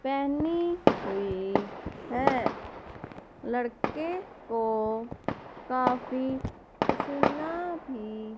पहनी हुई है लड़के को काफी पसीना भी--